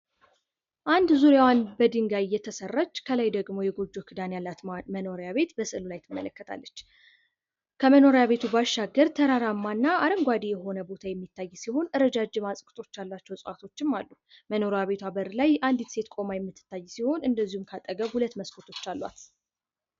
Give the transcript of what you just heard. አንድ ዙሪያዋን በድንጋይ የተሰራች ከላይ ደግሞ የጎጆ ክዳን ያላት መኖሪያ ቤት በስዕሉ ላይ ትመለከታለች። ከመኖሪያ ቤቱ ባሻገር ተራራማና አረንጓዴ የሆነ ቦታ የሚታይ ሲሆን ረጃጅም ያላቸው እጽዋቶችም አሉ። መኖሪያ ቤቱ በር ላይ አንድት ሴት ቁማ የምትታይ ሲሆን እንደዚሁም ከአጠገብ ሁለት መስኮቶች አሏት።